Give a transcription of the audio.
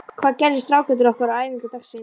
Hvað gerðu strákarnir okkar á æfingu dagsins?